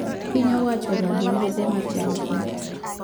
Piny owacho ong`ado wuodhe mar jalupne